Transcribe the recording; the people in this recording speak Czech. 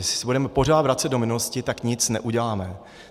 Jestli se budeme pořád vracet do minulosti, tak nic neuděláme.